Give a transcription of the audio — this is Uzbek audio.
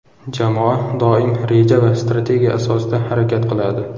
Jamoa doim reja va strategiya asosida harakat qiladi.